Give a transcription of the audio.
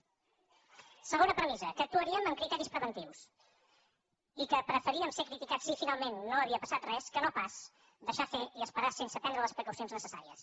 segona premissa que actuaríem amb criteris preventius i que preferíem ser criticats si finalment no havia passat res que no pas deixar fer i esperar sense prendre les precaucions necessàries